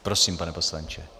Prosím, pane poslanče.